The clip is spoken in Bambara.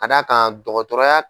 Ka da kan dɔgɔtɔrɔya.